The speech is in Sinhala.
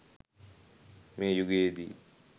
මේ යුගයේදී